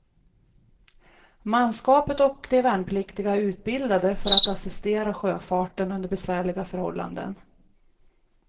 Manskapet och de värnpliktiga är utbildade för att assistera sjöfarten under besvärliga förhållanden.